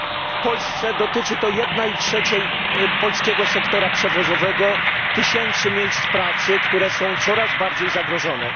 W Polsce dotyczy to jednej trzeciej polskiego sektora przewozowego, tysięcy miejsc pracy, które są coraz bardziej zagrożone.